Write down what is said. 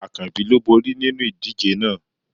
Akanbi ló bori ninu idije náà